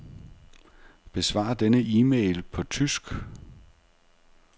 Besvar denne e-mail på tysk.